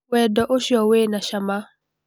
Wendo ũcio wĩna cama